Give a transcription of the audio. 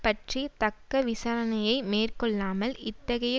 பற்றி தக்க விசாரணையை மேற்கொள்ளாமல் இத்தகைய